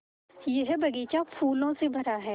यह बग़ीचा फूलों से भरा है